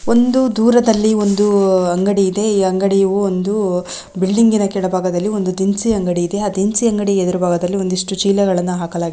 ಒಂದು ದೂರದಲ್ಲಿ ಒಂದು ಅಂಗಡಿ ಇದೆ ಈ ಅಂಗಡಿಯು ಒಂದು ಬಿಲ್ಡಿಂಗ್ನನ ಕೆಳಭಾಗದಲ್ಲಿ ಒಂದು ದಿನಸಿ ಅಂಗಡಿಯಿದೆ ಆ ದಿನಸಿ ಅಂಗಡಿಯ ಎದುರುಭಾಗದಲ್ಲಿ ಒಂದಿಷ್ಟು ಚೀಲಗಳನ್ನ ಹಾಕಲಾಗಿದೆ.